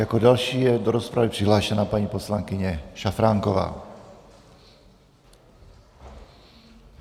Jako další je do rozpravy přihlášena paní poslankyně Šafránková.